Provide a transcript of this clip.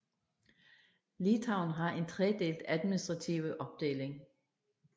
Litauen har en tredelt administrative opdeling